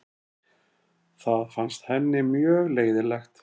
Það fannst henni mjög leiðinlegt.